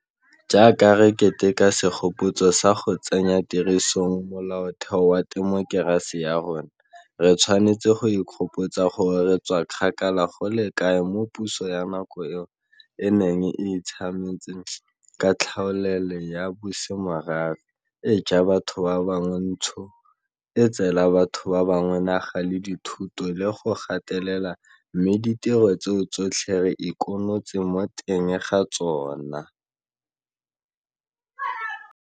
Jaaka re keteka segopotso sa go tsenya tirisong Molaotheo wa temokerasi ya rona, re tshwanetse go ikgopotsa gore re tswa kgakala go le kae moo puso ya nako eo e neng e itshametse ka tlhaolele ya bosemorafe, e ja batho ba bangwe ntshu, e tseela batho ba bangwe naga le dithoto le go ba gatelela mme ditiro tseo tsotlhe re ikinotse mo teng ga tsona.